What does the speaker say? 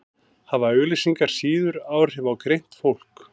hafa auglýsingar síður áhrif á greint fólk